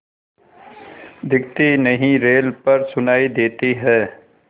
दिखती नहीं रेल पर सुनाई देती है